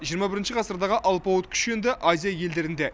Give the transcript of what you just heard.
жиырма бірінші ғасырдағы алпауыт күш енді азия елдерінде